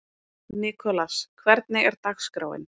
Nikolas, hvernig er dagskráin?